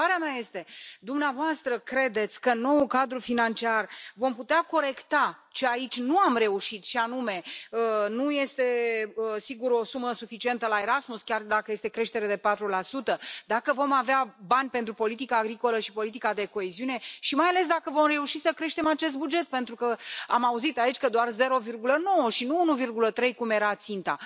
Întrebarea mea este dumneavoastră credeți că în noul cadru financiar vom putea corecta, și aici nu am reușit și anume nu este, sigur, o sumă suficientă la Erasmus, chiar dacă este creștere de 4, dacă vom avea bani pentru politica agricolă și politica de coeziune și mai ales dacă vom reuși să creștem acest buget pentru că am auzit aici că doar 0,9 și nu 1,3 cum era ținta.